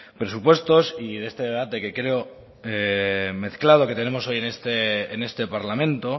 presupuestos y de este debate que creo mezclado que tenemos hoy en este parlamento